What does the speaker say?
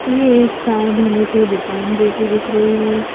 ये एक कार धोने की दुकान जैसी दिख रही है।